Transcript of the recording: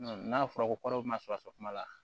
N'a fɔra ko kɔrɔsɛn kuma la